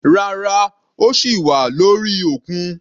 Rárá, ó sì wà lórí òkun.